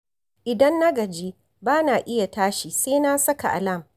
Idan na gaji, ba na iya tashi sai na saka alam